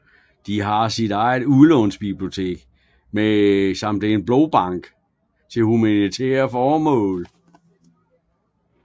Det har sit eget udlånsbibliotek samt en blodbank til humanitære formål